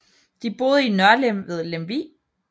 De boede i Nørlem ved Lemvig